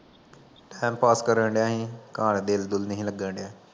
time ਪਾਸ ਕਰਨ ਡਿਆ ਈ, ਘਰਾਂ ਤੇ ਦਿਲ ਦੁਲ ਨਹੀਂ ਲਗਨ ਡਿਆ